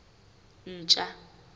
ntja